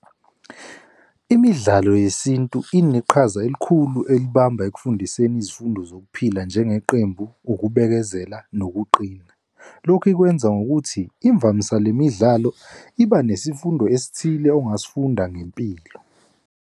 Imidlalo yesintu ineqhaza elikhulu elibamba ekufundiseni izifundo zokuphila njengeqembu, ukubekezela nokuqina. Lokhu ikwenza ngokuthi imvamisa le midlalo iba nesifundo esithile ongasifunda ngempilo.